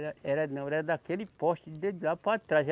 Era não, era daquele poste de lá para trás.